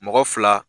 Mɔgɔ fila